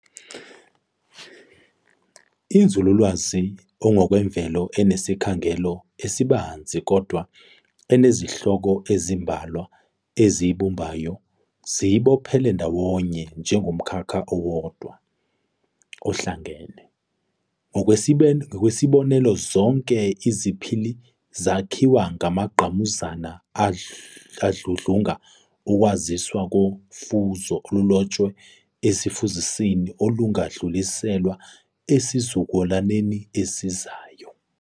Inzululwazi engokwemvelo enesikhangelo esibanzi kodwa enezihloko ezimbalwa eziyibumbayo ziyibophele ndawonye njengomkhakha owodwa, ohlangene. Ngokwesibonelo zonke iziPhili zakhiwa amangqamuzana adludlunga ukwaziswa kofuzo olulotshwe ezifuzisini, olungadluliselwa ezizukulwaneni ezizayo.